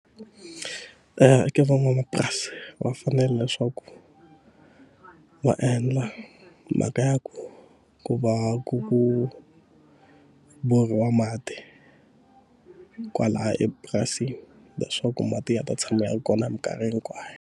Ka van'wamapurasi va fanele leswaku va endla mhaka ya ku ku va ku ku borhiwa mati kwalaya epurasini, leswaku mati ya ta tshamela kona hi mikarhi hikwayo.